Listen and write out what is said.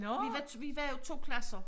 Vi var vi var jo 2 klasser